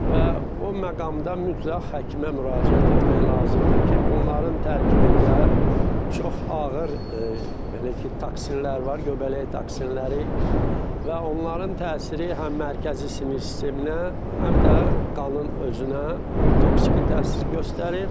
Və o məqamda mütləq həkimə müraciət etmək lazımdır ki, bunların tərkibində çox ağır belə ki, toksinlər var, göbələk toksinləri və onların təsiri həm mərkəzi sinir sisteminə, həm də qanın özünə toksiki təsir göstərir.